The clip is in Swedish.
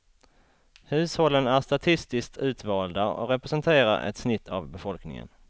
Hushållen är statistiskt utvalda och representerar ett snitt av befolkningen.